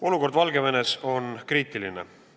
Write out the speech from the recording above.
Olukord Valgevenes on kriitiline.